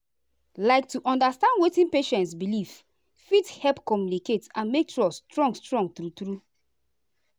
like to understand wetin patient believe fit help communication and make trust strong strong true true.